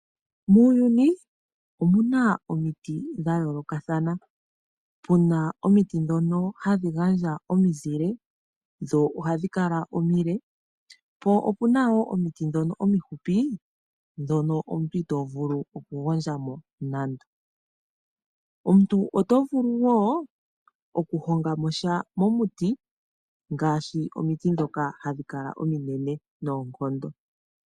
Muuyuni omu na omiti dha yoolokathana. Opu na omiti dhoka hadhi handhi gandja omizile dho ohadhi kala omile, po ope na omiti dhono omifupi omuntu ito vulu okugondja mo naana. Omuntu oto vulu wo okuhonga mo sha momiti ngaashi omiti dhoka hadhi kala oonene noonkondo.